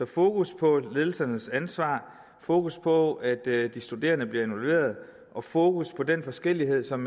fokus på ledelsernes ansvar fokus på at de studerende bliver involveret og fokus på den forskellighed som